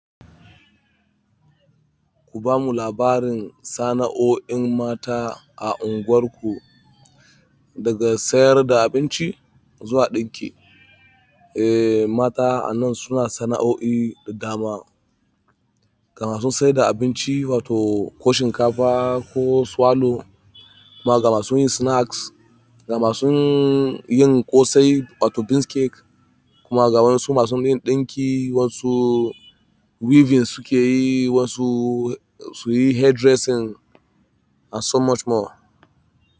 Ku bamu labarin sana'o'in mata a unguwarku, daga sayar da abinci zuwa ɗinki. Eh, mata a nan suna sana'o'i da dama, ga ma su sai da abinci wato ko shinkafa ko swallow kuma gama sun yi snacks, gama sun yin ƙosai wato beans cake kuma ga wasu masu yin ɗinki, wasu weavings suke yi, wasu suyi hairdressing and so much more.